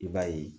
I b'a ye